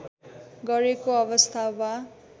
गरेको अवस्था वा